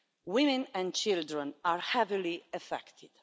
Women and children are heavily affected.